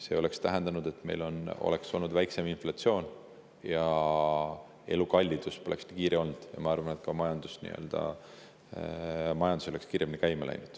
See oleks tähendanud, et meil oleks olnud väiksem inflatsioon ja elukalliduse poleks nii kiire olnud, ja ma arvan, et ka majandus oleks kiiremini käima läinud.